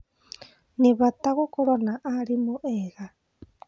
Nĩ bata gũkorwo na arimũ eega.